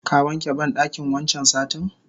Ka wanke bandakin wancan satin?